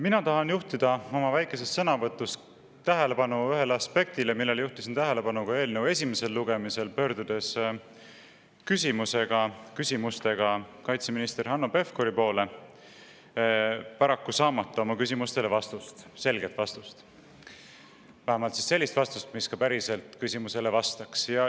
Mina tahan juhtida oma väikeses sõnavõtus tähelepanu ühele aspektile, millele juhtisin tähelepanu ka eelnõu esimesel lugemisel, pöördudes küsimustega kaitseminister Hanno Pevkuri poole, paraku saamata selget vastust, vähemalt sellist vastust, mis ka päriselt küsimusele vastaks.